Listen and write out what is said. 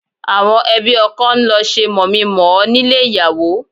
Àwọn ẹbí ọkọ ń lọ ṣe mọ̀mí-n-mọ̀-ọ́ nílé ìyàwó